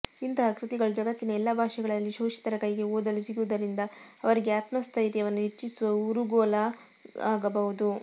ಇಂತಹ ಕೃತಿಗಳು ಜಗತ್ತಿನ ಎಲ್ಲಾ ಭಾಷೆಗಳಲ್ಲಿ ಶೋಷಿತರ ಕೈಗೆ ಓದಲು ಸಿಗುವುದರಿಂದ ಅವರಿಗೆ ಆತ್ಮಸ್ಥೈರ್ಯವನ್ನು ಹೆಚ್ಚಿಸುವ ಊರುಗೋಲಾಗಬಹುದು